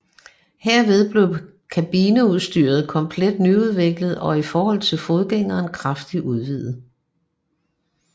Herved blev kabineudstyret komplet nyudviklet og i forhold til forgængeren kraftigt udvidet